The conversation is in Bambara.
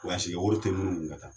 kɛ wari tɛ minnu kun ka taa